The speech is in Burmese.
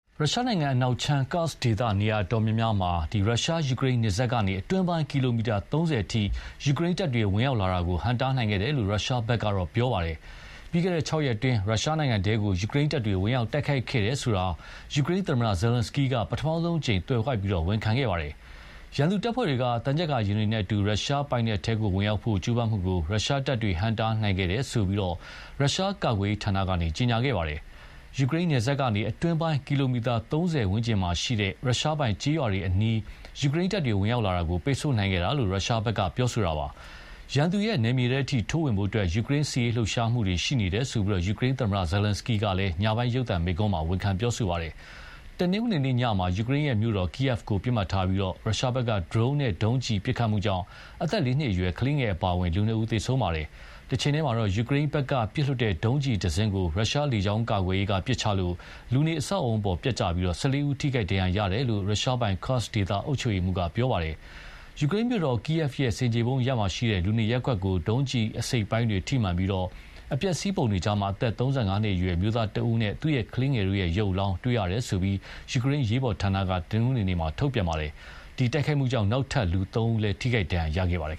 ရုရှားနိုင်ငံ အနောက်ခြမ်း Kursk ဒေသ နေရာအတော်များများမှာ ရုရှား-ယူကရိန်းနယ်စပ်ကနေ အတွင်းပိုင်း ကီလိုမီတာ ၃၀ အထိ ယူကရိန်းတပ်တွေ ဝင်ရောက်လာတာကို ဟန့်တားခဲ့တယ်လို့ ရုရှားဘက်က ပြောပါတယ်။ ပြီးခဲ့တဲ့ ၆ ရက်အတွင်း ရုရှားနိုင်ငံထဲ ယူကရိန်းတပ်တွေ ဝင်ရောက်တိုက်ခိုက်ခဲ့တယ်ဆိုတာကို ယူကရိန်းသမ္မတ Zelenskyy က ပထမဆုံးအကြိမ် သွယ်ဝိုက်ပြီး ဝန်ခံခဲ့ပါတယ်။ ရန်သူတပ်ဖွဲ့တွေက သံချပ်ကာယာဉ်တွေနဲ့အတူ ရုရှားပိုင်နက်ထဲဝင်ရောက်ဖို့ ကြိုးပမ်းမှုကို ရုရှားတပ်တွေ ဟန့်တားနိုင်ခဲ့တယ်လို့ ရုရှားကာကွယ်ရေဌာနက ကြေညာပါတယ်။ ယူကရိန်းနယ်စပ်ကနေ အတွင်းပိုင်း ကီလိုမီတာ ၃၀ ဝန်းကျင်မှာရှိတဲ့ ရုရှားပိုင်ကျေးရွာတွေအနီး ယူကရိန်းတပ်တွေဝင်ရောက်လာတာကို ပိတ်ဆို့ခဲ့တယ်လို့ ရုရှားက ပြောပါတယ်။ ရန်သူနယ်မြေထဲအထိ ထိုးဝင်ဖို့ ယူကရိန်းစစ်ရေးလှုပ်ရှားမှုတွေရှိနေတယ်လို့ ယူကရိန်းသမ္မတ ဇာလန်စကီးက ညပိုင်းရုပ်သံမိန့်ခွန်းမှာ ဝန်ခံပြောဆိုပါတယ်။ တနင်္ဂနွေနေ့ညမှာ ယူကရိန်းမြို့တော် Kyiv ကို ပစ်မှတ်ထားပြီး ရုရှားဘက်က ဒရုန်းနဲ့ ဒုံးကျည်ပစ်ခတ်မှုကြောင့် အသက် ၄ နှစ်အရွယ် ကလေးငယ်အပါအဝင်လူနှစ်ဦးသေဆုံးခဲ့ပါတယ်။ တချိန်တည်းမှာတော့ ယူကရိန်းဘက်ကပစ်လွှတ်တဲ့ ဒုံးကျည်တစင်းကို ရုရှားလေကြောင်းကာကွယ်ရေးက ပစ်ချလို့ လူနေအဆောက်အဦးအပေါ် ပျက်ကျပြီး ၁၄ ဦး ထိခိုက်ဒဏ်ရာရတယ်လို့ ရုရှားပိုင် Kursk ဒေသအုပ်ချုပ်ရေးမှူးက ပြောပါတယ်။ ယူကရိန်းမြို့တော် Kyiv ရဲ့ ဆင်ခြေဖုံးအရပ်က လူနေရပ်ကွက်ကို ဒုံးကျည်အစိတ်အပိုင်းတွေထိမှန်ပြီး အပျက်အစီးပုံတွေ ကြား အသက် ၃၅ နှစ်အရွယ် အမျိုးသားတဦးနဲ့ သူ့ကလေးငယ်တို့ရဲ့ ရုပ်အလောင်းတွေ တွေ့ရတယ်လို့ ယူကရိန်း အရေးပေါ်ဌာနက တနင်္ဂနွေနေ့က ထုတ်ပြန်ခဲ့ပါတယ်။ ဒီတိုက်ခိုက်မှုကြောင် နောက်ထပ် လူသုံးဦးလည်း ထိခိုက်ဒဏ်ရာရခဲ့ပါတယ်